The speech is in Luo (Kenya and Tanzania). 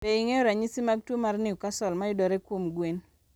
Be ing'eyo ranyisi mag tuo mar Newcastle mayudore kuom gwen?